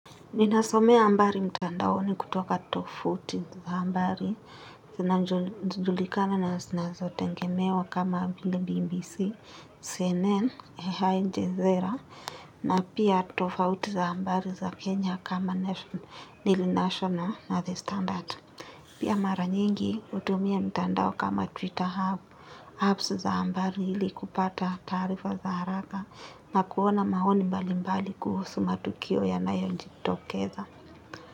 Ninasomea ambari mtandaoni kutoka tofauti za ambari, sinazojulikana na sinazotengemewa kama BBC, CNN, AI njezera, na pia tofauti za ambari za Kenya kama National National and the Standard. Pia mara nyingi utumia mtandao kama Twitter hub, hubs za ambari ili kupata taarifa za haraka na kuona maoni mbali mbali kuhusu matukio yanayonji tokeza.